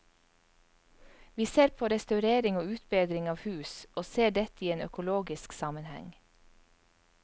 Vi ser på restaurering og utbedring av hus, og ser dette i en økologisk sammenheng.